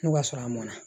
N'o y'a sɔrɔ a mɔn na